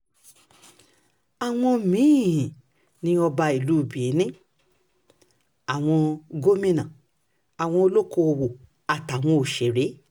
àwọn um mí-ín ni ọba ìlú benin àwọn um gómìnà àwọn olókoòwò àtàwọn òṣèré